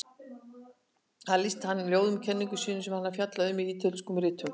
Þar lýsti hann í ljóðum kenningum sínum sem hann hafði fjallað um í Ítölsku ritunum.